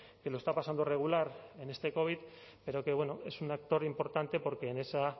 que lo está pasando regular en este covid pero que bueno es un actor importante porque en esa